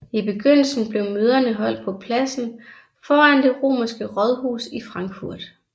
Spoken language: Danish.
I begyndelsen blev møderne holdt på pladsen foran det romerske rådhus i Frankfurt